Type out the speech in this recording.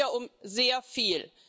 Es geht hier um sehr viel!